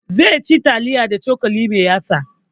Zai ci taliya da cokali mai yatsa